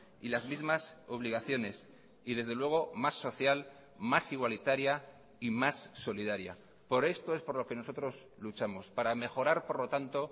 y las mismas obligaciones y desde luego más social más igualitaria y más solidaria por esto es por lo que nosotros luchamos para mejorar por lo tanto